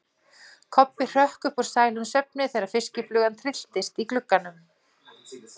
Kobbi hrökk upp úr sælum svefni þegar fiskiflugan trylltist í glugganum.